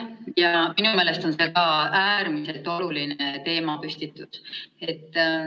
Jaa, minu meelest on see ka äärmiselt oluline teemapüstitus.